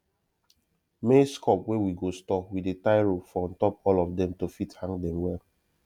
maize cob wey we go store we dey tie rope for untop all of dem to fit hang dem well